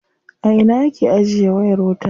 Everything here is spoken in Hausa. A ina aka ajiye wayar wuta.